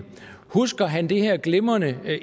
husker han det her glimrende